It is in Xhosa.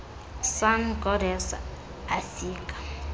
sun goddess afika